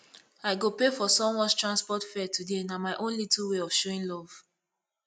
i go pay for someones transport fare today na my own little way of showing love